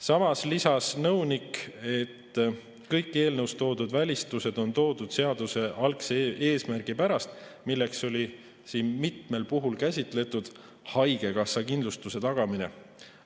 Samas lisas nõunik, et kõik eelnõus toodud välistused on toodud seaduse algse eesmärgi pärast, milleks oli siin mitmel puhul käsitletud haigekassakindlustuse tagamine.